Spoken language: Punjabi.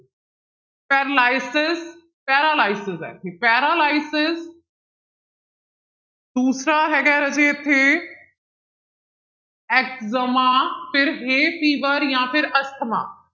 ਪੈਰਲਾਇਸਸ paralysis ਹੈ ਇੱਥੇ paralysis ਦੂਸਰਾ ਹੈਗਾ ਹੈ ਰਾਜੇ ਇੱਥੇ ਐਗਜਮਾ ਫਿਰ fever ਜਾਂ ਫਿਰ ਅਸਥਮਾ